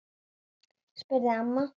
spurði amma.